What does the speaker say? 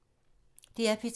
DR P2